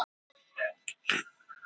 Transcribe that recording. Þannig myndast góð vatnsleiðni.